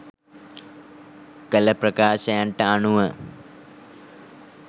කළ ප්‍රකාශයන්ට අනුව